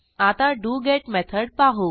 आता डोगेत मेथड पाहू